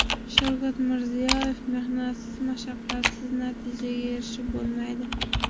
Shavkat Mirziyoyev: Mehnatsiz, mashaqqatsiz natijaga erishib bo‘lmaydi.